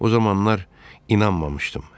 O zamanlar inanmamışdım.